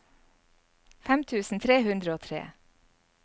fem tusen tre hundre og tre